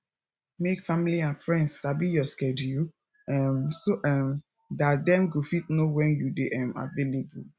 make family and friends sabi your schedule um so um dat dem go fit know when you dey um available